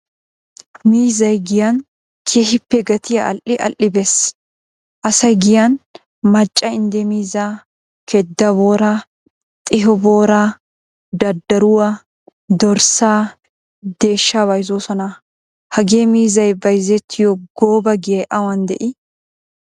Miizzay giyan keehippe gatiya all"i all"i bees. Asay giyan macca inde miizza, keeda booraa, xiiho booraa, daddaruwaa, dorssa, deeshsha bayzzoosona. Hagee miizzay bayzzettiyo gooba giyay awan dei?